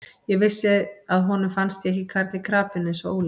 Ég vissi að honum fannst ég ekki karl í krapinu eins og Óli.